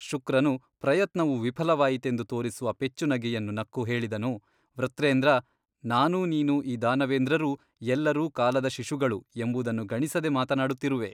ಶುಕ್ರನು ಪ್ರಯತ್ನವು ವಿಫಲವಾಯಿತೆಂದು ತೋರಿಸುವ ಪೆಚ್ಚುನಗೆಯನ್ನು ನಕ್ಕು ಹೇಳಿದನು ವೃತ್ರೇಂದ್ರ ನಾನೂ ನೀನೂ ಈ ದಾನವೇಂದ್ರರೂ ಎಲ್ಲರೂ ಕಾಲದ ಶಿಶುಗಳು ಎಂಬುದನ್ನು ಗಣಿಸದೆ ಮಾತನಾಡುತ್ತಿರುವೆ.